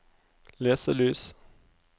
leselys